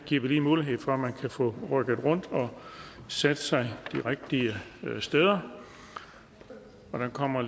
giver vi lige mulighed for at få rykket rundt og sat sig de rigtige steder der kommer